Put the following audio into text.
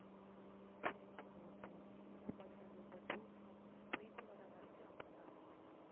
சரி சரி okay okay ஆமாம் கண்ணு இந்த tour போ~போயிட்டு வற வரைக்கும் அப்படி தான் இருக்கும்.